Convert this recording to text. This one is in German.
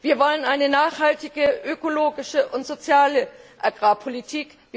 Wir wollen eine nachhaltige, ökologische und soziale Agrarpolitik.